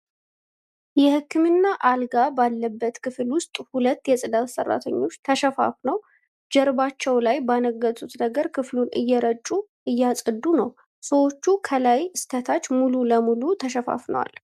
የህክምና አልጋ ባለበት ክፍል ዉስጥ ሁለት የጽዳት ሰራተኞች ተሸፋፍነው ጀርባቸው ላይ ባነገቱት ነገር ክፍሉን እየረጩ እያጸዱ ነው። ሰዎቹ ከላይ እስከታች ሙሉ ለሙሉ ተሸፋፍነዋል።